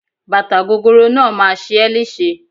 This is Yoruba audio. Bàtà gogoro náà máa ṣe é léṣe.